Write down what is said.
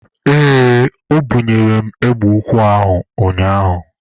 Ee, o bunyere m egbe ukwu ụnyaahụ.